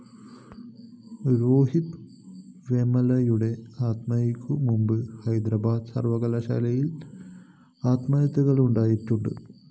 രോഹിത് വേമുലയുടെ ആത്മഹത്യക്കു മുമ്പും ഹൈദരബാദ് സര്‍വകലാശാലയില്‍ ആത്മഹത്യകളുണ്ടായിട്ടുണ്